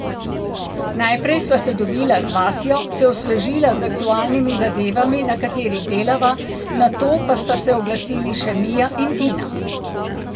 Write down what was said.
Najprej sva se dobila z Vasjo, se osvežila z aktualnimi zadevami na katerih delava, nato pa sta se oglasili še Mija in Tina.